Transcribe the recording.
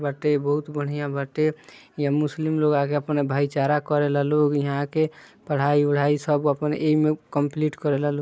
बाटे बहुत बडिया बाटे यह मुस्लिम लोग आगे अपना भाई चारा करेला लोग यहा के पढाई विडाई सब अपन इमे कम्प्लीट करेला लोग।